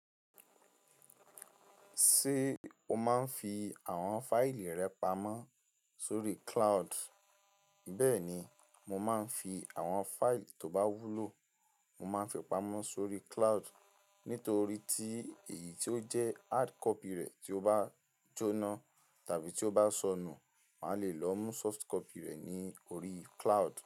Ṣé o máa ń fi àwọn fáìlì rẹ pamọ́ sórí cloud? Bẹ́ẹ̀ ni, mo máa ń fi àwọn fáìlì tó bá wúlò, mo máa ń fi pamọ́ sórí cloud. Nítorí tí èyí tí ó jẹ́ hardcopy rẹ̀ tí ó bá jóná tàbí tí ó bá sọnù, màá le lọ mú softcopy rẹ̀ ní orí cloud.